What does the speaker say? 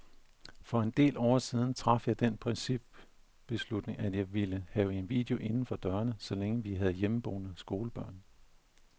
For en del år siden traf jeg den principbeslutning, at jeg ikke ville have en video inden for dørene, så længe vi havde hjemmeboende skolebørn.